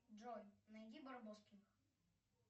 джой найди барбоскиных